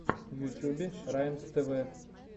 в ютьюбе раймств